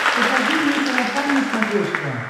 покажи мне сарафан на смотрешке